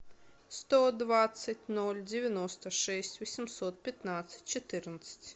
сто двадцать ноль девяносто шесть восемьсот пятнадцать четырнадцать